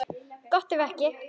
Gott ef ekki.